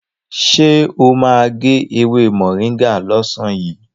Sọ ma gé ewé mọ̀ríngà lọ́sàn yìí?